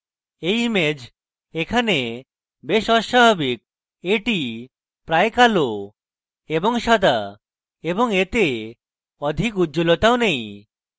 এই image এখানে বেশ অস্বাভাবিক এটি প্রায় কালো এবং সাদা এবং এতে অধিক উজ্জলতাও নেই